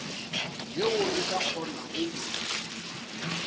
yeo re ka kgonago go